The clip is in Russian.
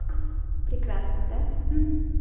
прекрасно да